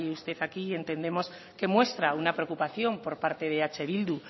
usted aquí entendemos que muestra una preocupación por parte de eh bildu